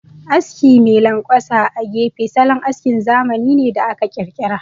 Aski mai lanƙwasa a gefe, salon askin zamani ne da aka ƙirƙira.